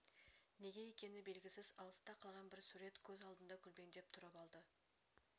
неге екен белгісіз алыста қалған бір сурет көз алдында көлбеңдеп тұрып алды